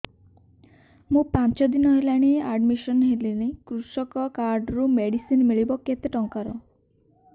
ମୁ ପାଞ୍ଚ ଦିନ ହେଲାଣି ଆଡ୍ମିଶନ ହେଲିଣି କୃଷକ କାର୍ଡ ରୁ ମେଡିସିନ ମିଳିବ କେତେ ଟଙ୍କାର